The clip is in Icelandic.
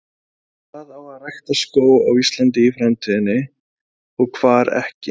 Hvar á að rækta skóg á Íslandi í framtíðinni og hvar ekki?